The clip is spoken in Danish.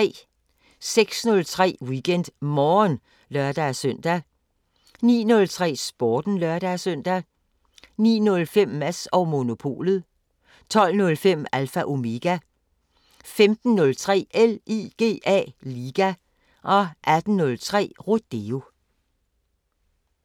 06:03: WeekendMorgen (lør-søn) 09:03: Sporten (lør-søn) 09:05: Mads & Monopolet 12:05: Alpha Omega 15:03: LIGA 18:03: Rodeo